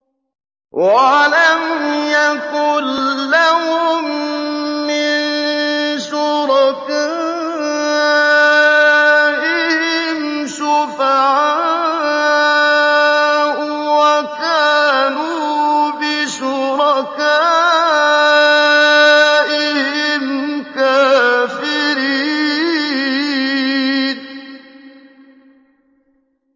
وَلَمْ يَكُن لَّهُم مِّن شُرَكَائِهِمْ شُفَعَاءُ وَكَانُوا بِشُرَكَائِهِمْ كَافِرِينَ